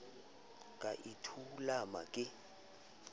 ka e a thulama ke